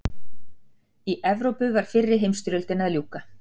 í evrópu var fyrri heimsstyrjöldinni að ljúka